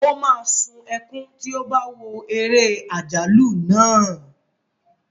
O máa sún ẹkún tí ó bá wo eré àjálù náà.